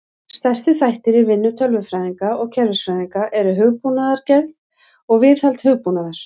Stærstu þættir í vinnu tölvunarfræðinga og kerfisfræðinga eru hugbúnaðargerð og viðhald hugbúnaðar.